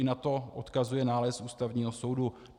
I na to odkazuje nález Ústavního soudu.